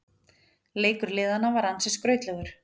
Leikur liðanna var ansi skrautlegur